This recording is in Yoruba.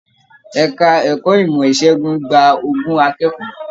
Ẹka ẹ̀kọ́ ìmọ ìsègùn gbà ogún akẹ́kọ̀ọ́